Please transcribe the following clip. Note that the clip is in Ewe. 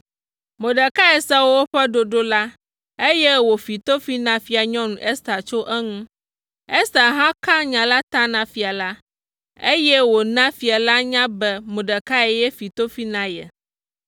Mordekai se woƒe ɖoɖo la, eye wòfi tofi na Fianyɔnu Ester tso eŋu. Ester hã ka nya la ta na fia la, eye wòna fia la nya be Mordekai ye fi tofi la na ye.